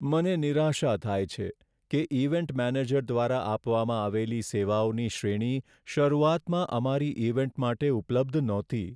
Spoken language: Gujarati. મને નિરાશા થાય છે કે ઈવેન્ટ મેનેજર દ્વારા આપવામાં આવેલી સેવાઓની શ્રેણી શરૂઆતમાં અમારી ઈવેન્ટ માટે ઉપલબ્ધ નહોતી.